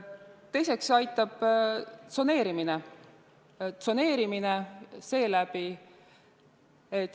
Teiseks aitab tsoneerimine.